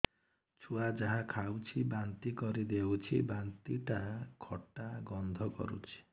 ଛୁଆ ଯାହା ଖାଉଛି ବାନ୍ତି କରିଦଉଛି ବାନ୍ତି ଟା ଖଟା ଗନ୍ଧ କରୁଛି